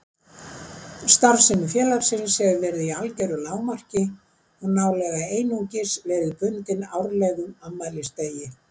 Starfsemi félagsins hefur verið í algeru lágmarki og nálega einungis verið bundin árlegum afmælisdegi